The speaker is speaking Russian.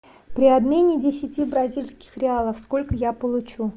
при обмене десяти бразильских реалов сколько я получу